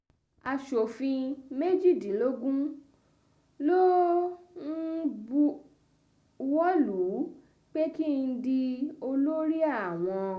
aṣòfin méjìdínlógún ló um bú buwọ́ lù ú pé ú pé kí n di um olórí àwọn